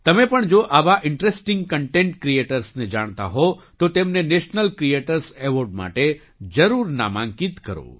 તમે પણ જો આવા ઇન્ટરેસ્ટિંગ કન્ટેન્ટ ક્રીએટર્સને જાણતા હો તો તેમને નેશનલ ક્રીએટર્સ એવૉર્ડ માટે જરૂર નામાંકિત કરો